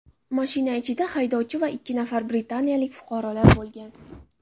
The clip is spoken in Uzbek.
Mashina ichida haydovchi va ikki nafar britaniyalik fuqarolar bo‘lgan.